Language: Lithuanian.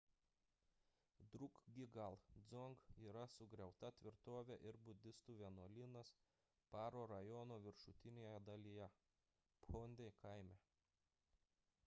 drukgyal dzong yra sugriauta tvirtovė ir budistų vienuolynas paro rajono viršutinėje dalyje phondey kaime